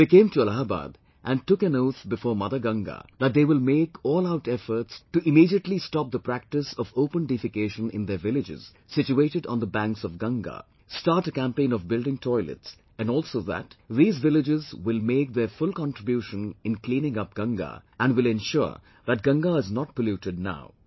They came to Allahabad and took an oath before Mother Ganga that they will make all out efforts to immediately stop the practice of open defecation in their villages situated on the banks of Ganga, start a campaign of building toilets and also that these villages will make their full contribution in cleaning up Ganga and will ensure that Ganga is not polluted now